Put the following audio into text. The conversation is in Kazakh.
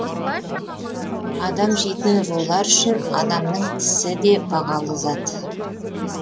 адам жейтін рулар үшін адамның тісі де бағалы зат